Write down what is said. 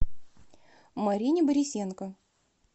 марине борисенко